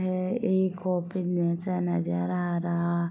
है एक ओपन जैसा नज़र आ रहा --